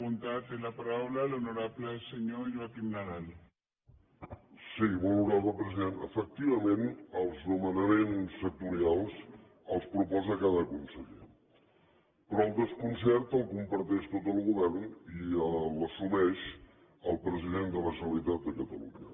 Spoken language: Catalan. molt honorable president efectivament els nomenaments sectorials els proposa cada conseller però el desconcert el comparteix tot el govern i l’assumeix el president de la generalitat de catalunya